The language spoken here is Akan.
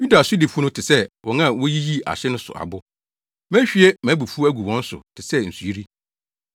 Yuda sodifo no te sɛ wɔn a woyiyi ahye so abo. Mehwie mʼabufuw agu wɔn so te sɛ nsuyiri.